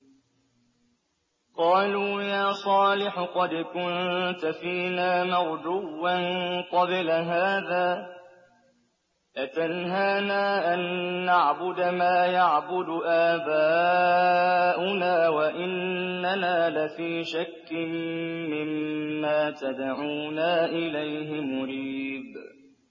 قَالُوا يَا صَالِحُ قَدْ كُنتَ فِينَا مَرْجُوًّا قَبْلَ هَٰذَا ۖ أَتَنْهَانَا أَن نَّعْبُدَ مَا يَعْبُدُ آبَاؤُنَا وَإِنَّنَا لَفِي شَكٍّ مِّمَّا تَدْعُونَا إِلَيْهِ مُرِيبٍ